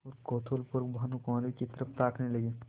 और कौतूहलपूर्वक भानुकुँवरि की तरफ ताकने लगे